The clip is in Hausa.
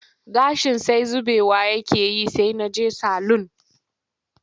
Gashin sai zubewa yake yi sai na je salun